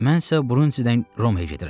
Mənsə Brundizidən Romaya gedirəm.